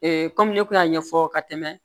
kɔmi ne kun y'a ɲɛfɔ ka tɛmɛ